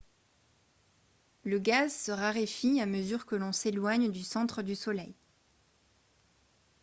le gaz se raréfie à mesure que l'on s'éloigne du centre du soleil